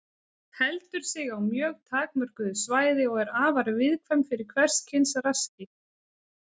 Heldur sig á mjög takmörkuðu svæði og er afar viðkvæm fyrir hvers kyns raski.